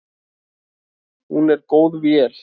Hún er góð vél.